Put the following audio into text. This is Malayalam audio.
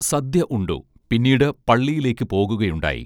സദ്യ ഉണ്ടു പിന്നീട് പള്ളിയിലേക്ക് പോകുകയുണ്ടായി